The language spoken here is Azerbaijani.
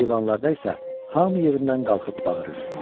Eyvanlarda isə hamı yerindən qalxıb bağırır.